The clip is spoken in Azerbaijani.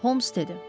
Holmes dedi.